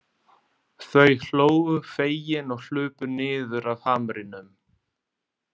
Þau hlógu fegin og hlupu niður af hamrinum.